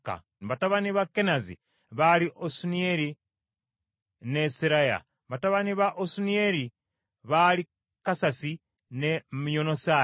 Batabani ba Kenazi baali Osuniyeri ne Seraya. Batabani ba Osuniyeri baali Kasasi ne Myonosaayi.